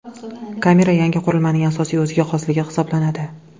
Kamera yangi qurilmaning asosiy o‘ziga xosligi hisoblanadi.